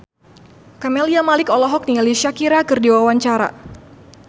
Camelia Malik olohok ningali Shakira keur diwawancara